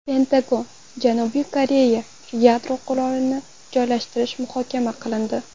Pentagon: Janubiy Koreyaga yadro qurolini joylashtirish muhokama qilindi.